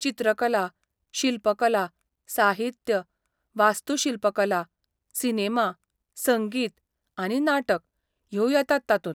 चित्रकला, शिल्पकला, साहित्य, वास्तूशिल्पकला, सिनेमा, संगीत आनी नाटक ह्यो येतात तातूंत.